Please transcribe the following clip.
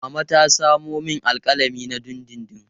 Mama ta samo min alƙalami na dindindin.